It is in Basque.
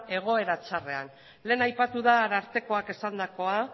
egoera txarrean lehen aipatu da arartekoak esandakoa